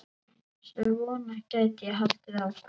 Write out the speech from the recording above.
Svona gæti ég haldið áfram.